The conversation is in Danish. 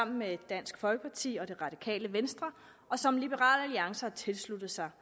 med dansk folkeparti og det radikale venstre og som liberal alliance har tilsluttet sig